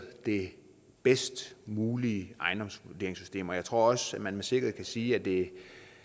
det bedst mulige ejendomsvurderingssystem og jeg tror også at man med sikkerhed kan sige at det